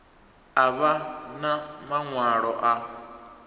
a vha na maṅwalo a